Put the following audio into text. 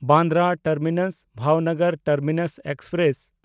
Bandra ᱴᱟᱨᱢᱤᱱᱟᱥ–ᱵᱷᱟᱵᱷᱱᱚᱜᱚᱨ terminus express